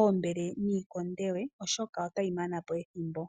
oombele niikonde we, oshoka otayi mana po ethimbo.